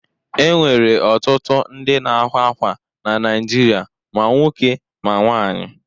E nwere ọtụtụ ndị na-akwa akwa na Naịjirịa; ma nwoke ma nwaanyị.